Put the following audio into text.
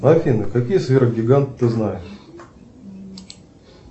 афина какие сверх гиганты ты знаешь